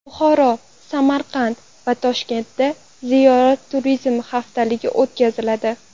Buxoro, Samarqand va Toshkentda ziyorat turizmi haftaligi o‘tkaziladi.